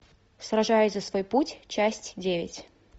сражаясь за свой путь часть девять